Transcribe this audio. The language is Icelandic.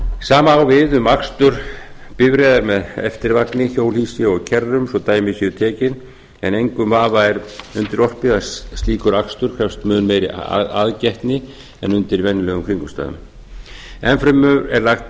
sama á við um akstur bifreiða með eftirvagni hjólhýsum og kerrum svo dæmi séu tekin en engum vafa er undirorpið að slíkur akstur krefst mun meiri aðgætni en undir venjulegum kringumstæðum enn fremur er lagt